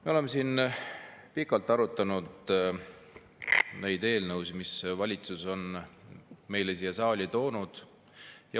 Me oleme siin pikalt arutanud neid eelnõusid, mille valitsus on siia saali toonud.